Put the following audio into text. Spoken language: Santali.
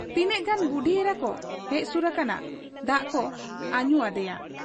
ᱛᱤᱱᱟᱹᱜ ᱜᱟᱱ ᱵᱩᱰᱤ ᱮᱨᱟᱠᱚ ᱦᱮᱡ ᱥᱩᱨ ᱟᱠᱟᱱᱟ ᱾ ᱫᱟᱜ ᱠᱚ ᱟᱹᱧᱩ ᱟᱫᱮᱭᱟ ᱾